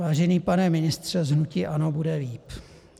Vážený pane ministře z hnutí ANO, bude líp.